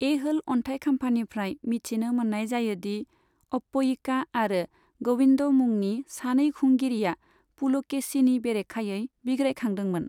ऐहोल अन्थाइखाम्फानिफ्राय मिथिनो मोननाय जायोदि अप्पयिका आरो गोविंद मुंनि सानै खुंगिरिया पुलकेशीनि बेरेखायै बिग्रायखांदोंमोन।